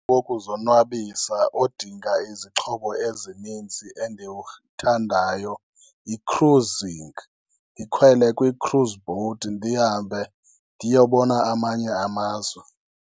Okuzonwabisa odinga izixhobo ezininzi endiwuthandayo yi-cruising, ndikhwele kwi-cruise boat ndihambe ndiyobona amanye amazwe.